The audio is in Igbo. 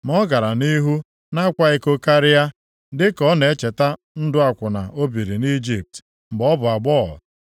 Ma ọ gara nʼihu na-akwa iko karịa, dịka ọ na-echeta ndụ akwụna o biri nʼIjipt mgbe ọ bụ agbọghọ.